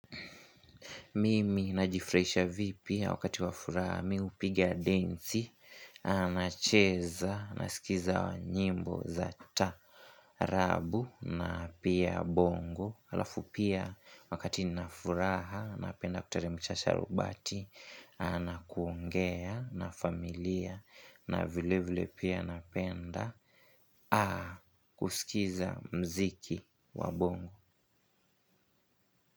Mimi naji furahisha vipi wakati wa furaha mi hupigia denzi, nacheza, nasikiza nyimbo zata rabu na pia bongo. Halafu pia wakati nina furaha, napenda kuteremsha sharubati, anakuongea na familia na vile vile pia napenda, kusikiza mziki wabongo.